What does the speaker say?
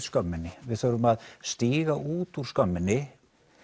skömminni við þurfum að stíga út úr skömminni